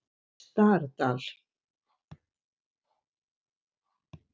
Stardal